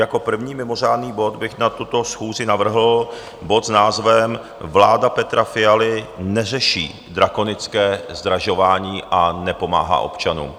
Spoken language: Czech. Jako první mimořádný bod bych na tuto schůzi navrhl bod s názvem Vláda Petra Fialy neřeší drakonické zdražování a nepomáhá občanům.